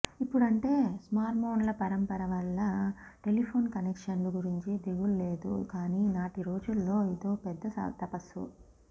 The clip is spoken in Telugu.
ఇప్పుడంటే స్మార్ట్ఫోన్ల పరంపర వల్ల టెలీఫోన్ కనెక్షన్లు గురించి దిగుల్లేదు కానీ నాటి రోజుల్లో ఇదో పెద్ద తపస్సు